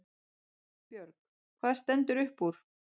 Björg: Hvað stendur upp úr?